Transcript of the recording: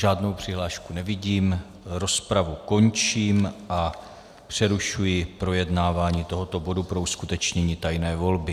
Žádnou přihlášku nevidím, rozpravu končím a přerušuji projednávání tohoto bodu pro uskutečnění tajné volby.